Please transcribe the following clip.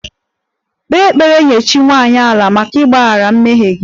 Kpee ekpere nye chi nwanyị 'ala' maka ịgbaghara mmehie gị!